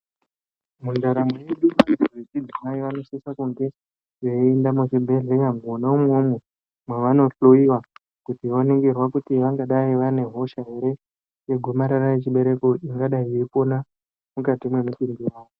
Muntaramo yedu vantu vechidzimai vanosise kunge veiende muzvibhedhlera mwona umwomwo mwavanohloiwa kuti varingirwe kuti vangadai ere vane hosha yegomarara rechibereko ingadai yeipona mukati mwemutumbi wavo.